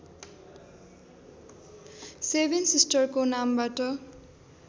seven सिस्टर्सको नामबाट